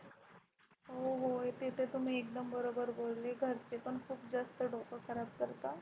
हो हो ते तर तुम्ही एकदम बरोबर बोलले घरचे पण खूप जास्त डोकं खराब करतात.